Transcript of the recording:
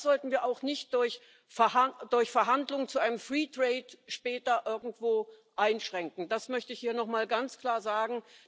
Das sollten wir auch nicht durch Verhandlungen zu einem free trade später irgendwo einschränken. Das möchte ich hier nochmal ganz klar sagen.